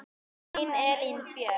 Þín Elín Björk.